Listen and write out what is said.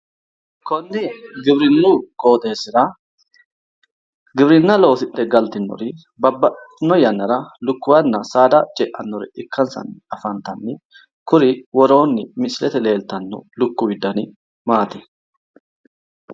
Konni giwirinnu qooxesra giwirinna looadhe galtinnor babbabaxewotewo yaanna lukkuwa ceannote ikkansay afantanno